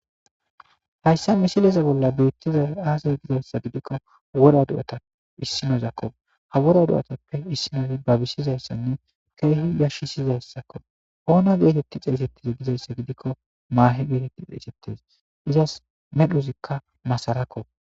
Hayssa mishileza bolla beettiza aasaze gizayssa gidikko wora do7ata issinozakko ha wora du7otappe issinozi babissizayssanne keehi yashissizayssakko oona geetetti xeesettiza gizayssa gidikko maahi geeteti xeesettes izas medhuzikka masarakko.